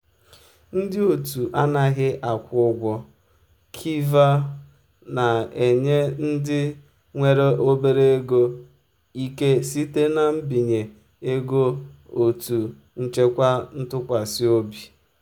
ndị otu anaghị akwụ ụgwọ kiva na-enye ndị nwere obere ego ike site na mbinye ego otu nchekwa ntụkwasị obi.